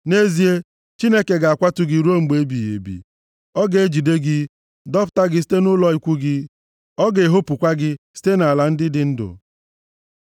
Nʼezie, Chineke ga-akwatu gị ruo mgbe ebighị ebi. Ọ ga-ejide gị, dọpụta gị site nʼụlọ ikwu gị, + 52:5 Ya bụ, ebe obibi ya ọ ga-ehopukwa gị site nʼala ndị dị ndụ. Sela